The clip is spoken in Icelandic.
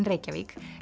Reykjavík